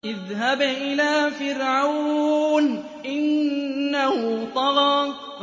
اذْهَبْ إِلَىٰ فِرْعَوْنَ إِنَّهُ طَغَىٰ